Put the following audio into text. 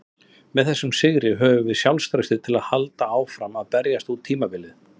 Með þessum sigri höfum við sjálfstraustið til að halda áfram að berjast út tímabilið.